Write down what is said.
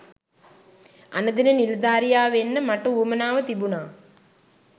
අණදෙන නිලධාරියා වෙන්න මට උවමනාව තිබුනා.